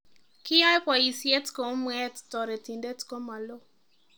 Kiyaee boyisyeet kou mweet toretindet komaloo